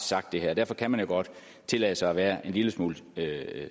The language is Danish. sagt det her og derfor kan man jo godt tillade sig at være en lille smule